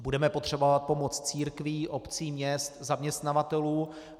Budeme potřebovat pomoc církví, obcí, měst, zaměstnavatelů.